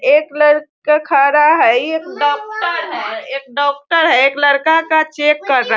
एक लड़का खड़ा है इ एक डॉक्टर है एक डॉक्टर है एक लड़का का चेक कर रहा --